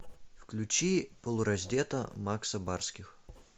включи полураздета макса барских